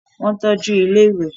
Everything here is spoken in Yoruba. Wọ́n tọ́ju ilẹ́ ìwẹ̀